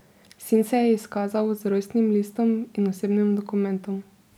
Sin se je izkazal z rojstnim listom in osebnim dokumentom.